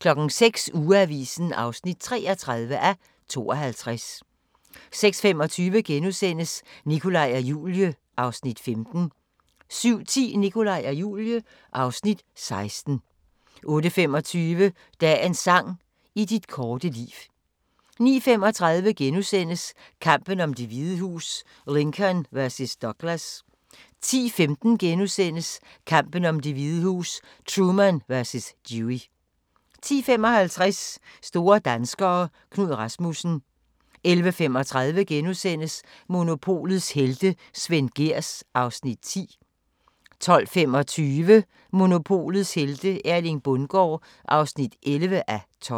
06:00: Ugeavisen (33:52) 06:25: Nikolaj og Julie (Afs. 15)* 07:10: Nikolaj og Julie (Afs. 16) 08:25: Dagens sang: I dit korte liv 09:35: Kampen om Det Hvide Hus: Lincoln vs. Douglas * 10:15: Kampen om Det Hvide Hus: Truman vs. Dewey * 10:55: Store danskere - Knud Rasmussen 11:35: Monopolets helte - Svend Gehrs (10:12)* 12:25: Monopolets helte - Erling Bundgaard (11:12)